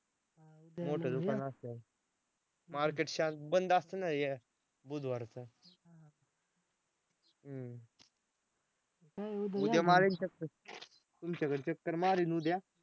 मोठं दुकान असत्यात. market शांत बंद असतंय ना बुधवारचं हं उद्या मारीन चक्कर तुमच्याकडं चक्कर मारीन उद्या.